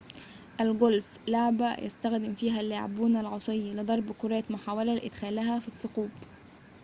الغولف لعبة يستخدم فيها اللاعبون العصيّ لضرب كرات محاولةً لإدخالها في الثقوب